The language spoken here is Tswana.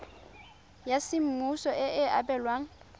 ya semmuso e e abelwang